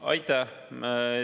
Aitäh!